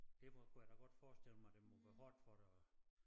Derfor kunne jeg da godt forestille mig det må være hårdt for dig at